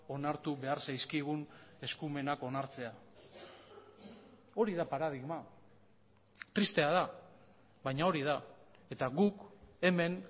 onartu behar zaizkigun eskumenak onartzea hori da paradigma tristea da baina hori da eta guk hemen